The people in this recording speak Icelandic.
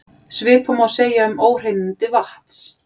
Svipað má segja um óhreinindi vatns.